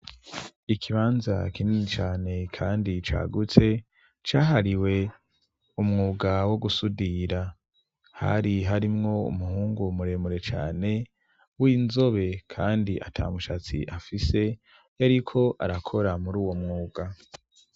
Ikibanza kinini cane kandi cagutse cahariwe umwuga wo gusudira, hari harimwo umuhungu muremure cane w'inzobe kandi ata mushatsi afise yariko arakora muri uwo mwuga.